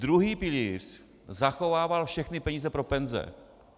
Druhý pilíř zachovával všechny peníze pro penze.